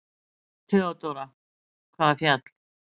THEODÓRA: Hvaða fjall?